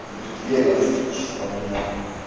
будет веганский часто у меня